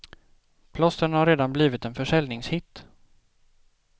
Plåstren har redan blivit en försäljningshit.